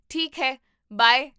ਠੀਕ ਹੈ, ਬਾਏ